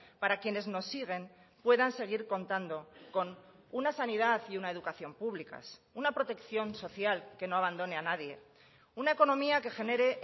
para quienes nos siguen puedan seguir contando con una sanidad y una educación públicas una protección social que no abandone a nadie una economía que genere